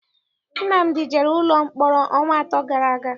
Nnamdi jere ụlọ mkpọrọ ọnwa atọ gara aga.